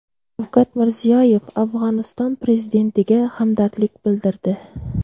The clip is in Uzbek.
Shavkat Mirziyoyev Afg‘oniston prezidentiga hamdardlik bildirdi.